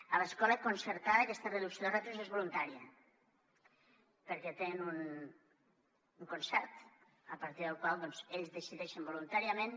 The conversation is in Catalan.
a l’escola concertada aquesta reducció de ràtios és voluntària perquè tenen un concert a partir del qual ells decideixen voluntàriament